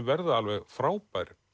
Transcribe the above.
verða alveg frábær